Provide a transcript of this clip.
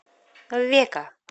века